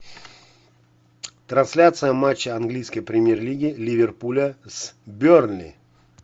трансляция матча английской премьер лиги ливерпуля с бернли